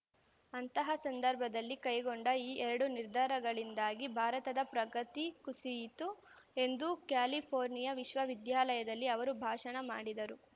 ಅಂತಹ ಸಂದರ್ಭದಲ್ಲಿ ಕೈಗೊಂಡ ಈ ಎರಡು ನಿರ್ಧಾರಗಳಿಂದಾಗಿ ಭಾರತದ ಪ್ರಗತಿ ಕುಸಿಯಿತು ಎಂದು ಕ್ಯಾಲಿಫೋರ್ನಿಯಾ ವಿಶ್ವವಿದ್ಯಾಲಯದಲ್ಲಿ ಅವರು ಭಾಷಣ ಮಾಡಿದರು